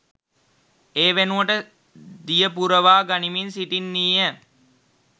ඒ වෙනුවට දිය පුරවා ගනිමින් සිටින්නීය